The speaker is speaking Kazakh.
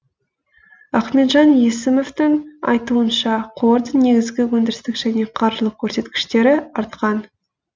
ахметжан есімовтің айтуынша қордың негізгі өндірістік және қаржылық көрсеткіштері артқан